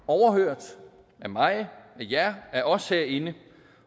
overhørt af mig at jer af os herinde